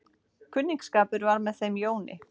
Kunningsskapur var með þeim Jóni.